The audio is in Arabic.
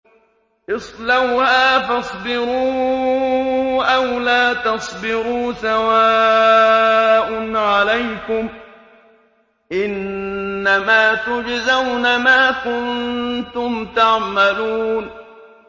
اصْلَوْهَا فَاصْبِرُوا أَوْ لَا تَصْبِرُوا سَوَاءٌ عَلَيْكُمْ ۖ إِنَّمَا تُجْزَوْنَ مَا كُنتُمْ تَعْمَلُونَ